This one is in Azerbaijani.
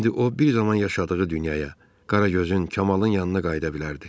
İndi o bir zaman yaşadığı dünyaya, Qaragözün, Kamalın yanına qayıda bilərdi.